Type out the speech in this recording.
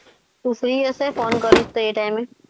તું ફ્રી હશે હું phone કરીશ એ time?